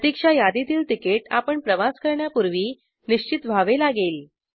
प्रतिक्षा यादीतील तिकीट आपण प्रवास करण्यापूर्वी निश्चित व्हावे लागेल